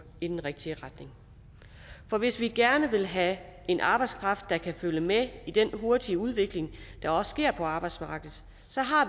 i den rigtige retning for hvis vi gerne vil have en arbejdskraft der kan følge med i den hurtige udvikling der også sker på arbejdsmarkedet